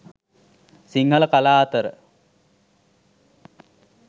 සිංහල කලා අතර